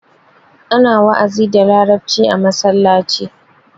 Ana wa'azi da larabci a masallaci.